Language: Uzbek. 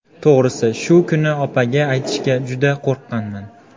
To‘g‘risi, shu kuni opaga aytishga juda qo‘rqqanman.